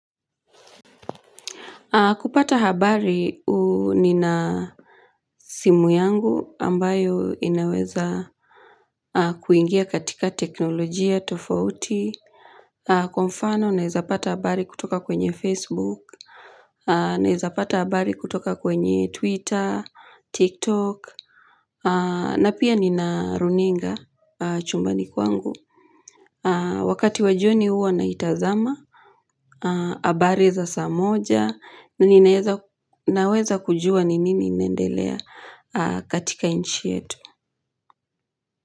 Kupata habari, ni na simu yangu ambayo inaweza kuingia katika teknolojia, tofauti. Kwa mfano, naeza pata habari kutoka kwenye Facebook. Naeza pata habari kutoka kwenye Twitter, TikTok. Na pia nina runinga chumbani kwangu. Wakati wa jioni huwa naitazama. Habari za saa moja na ninaweza kujua ni nini inaendelea katika nchi yetu.